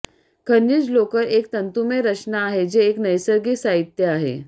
खनिज लोकर एक तंतुमय रचना आहे जे एक नैसर्गिक साहित्य आहे